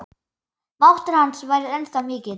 Máttur hans væri ennþá mikill.